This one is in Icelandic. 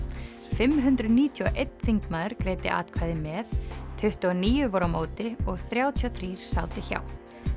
fimm hundruð níutíu og einn þingmaður greiddi atkvæði með tuttugu og níu voru á móti og þrjátíu og þrír sátu hjá